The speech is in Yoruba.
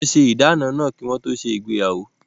Wọ́n ṣe ìdáná náà kí wọ́n tó se ìgbéyàwó